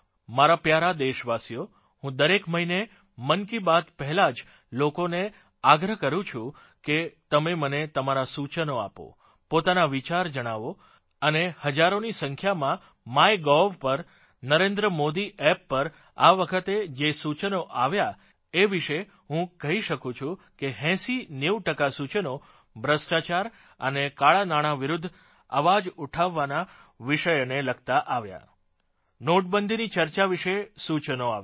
મારા પ્યારા દેશવાસિઓ હું દરેક મહિને મન કી બાત પહેલાં જ લોકોને આગ્રહ કરું છું કે તમે મને તમારા સૂચનો આપો પોતાના વિચાર જણાવો અને હજારોની સંખ્યામાં MyGovપર NarendraModiAppપર આ વખતે જે સૂચનો આવ્યા એ વિશે હું કહી શકુ છું કે 8090 ટકા સૂચનો ભ્રષ્ટાચાર અને કાળાનાણાં વિરુધ્ધ અવાજ ઉઠાવવાના વિષયને લગતાં આવ્યા નોટબંધીની ચર્ચા વિશે સૂચનો આવ્યા